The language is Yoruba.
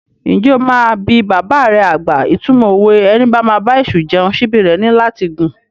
Ǹjẹ́ o máa bi bàbà rẹ àgbà ìtumọ̀ òwe "Ẹni bá máa bá èṣù jẹun, síbí rẹ̀ ní láti gùn"?